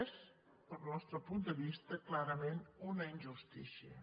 és pel nostre punt de vista clarament una injustícia